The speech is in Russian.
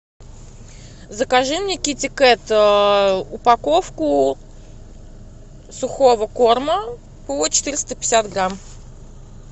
закажи мне китикет упаковку сухого корма по четыреста пятьдесят грамм